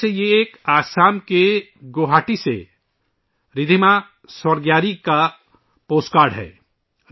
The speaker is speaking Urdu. گوہاٹی، آسام سے رِدھیما سورگیاری کا پوسٹ کارڈ اس طرح ہے